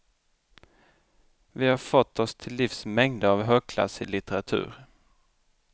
Vi har fått oss till livs mängder av högklassig litteratur.